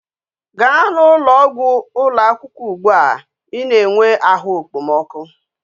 Ga na ulo ogwu ulo akwukwo ugbua i na enwe ahu ekpomoku!